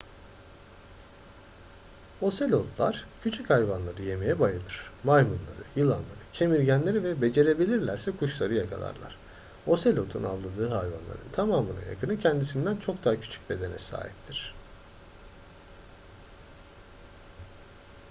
ocelotlar küçük hayvanları yemeye bayılır maymunları yılanları kemirgenleri ve becerebilirlerse kuşları yakalarlar ocelotun avladığı hayvanların tamamına yakını kendisinden çok daha küçük bedene sahiptir